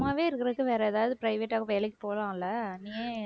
சும்மாவே இருக்கிறதுக்கு வேற ஏதாவது private ஆ வேலைக்கு போலாம் இல்ல